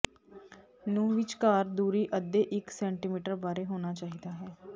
ਨੂੰ ਵਿਚਕਾਰ ਦੂਰੀ ਅੱਧੇ ਇੱਕ ਸੈਟੀਮੀਟਰ ਬਾਰੇ ਹੋਣਾ ਚਾਹੀਦਾ ਹੈ